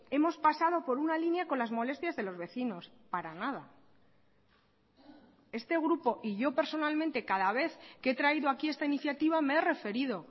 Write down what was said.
hemos pasado por una línea con las molestias de los vecinos para nada este grupo y yo personalmente cada vez que he traído aquí esta iniciativa me he referido